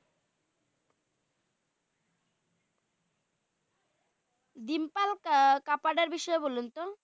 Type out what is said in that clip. ডিম্পল কাপাডিয়া বিষয়ে বলুন তো?